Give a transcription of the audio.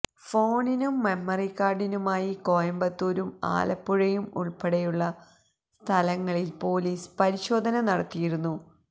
ഫോണിനും മെമ്മറികാര്ഡിനുമായി കോയമ്പത്തൂരും ആലപ്പുഴയും ഉള്പ്പെടെയുള്ള സ്ഥലങ്ങളില് പോലീസ് പരിശോധന നടത്തിയിരുന്നു